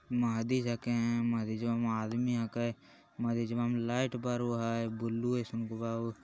मस्जिद हके मस्जिदवा में आदमी हके मस्जिदवा में लाइट बरा हई बुलु जइसन गो बहुत ।